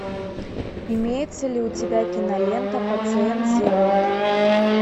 имеется ли у тебя кинолента пациент зеро